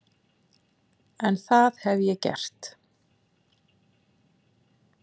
En það hef ég gert.